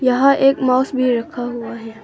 यहां एक माउस भी रखा हुआ है।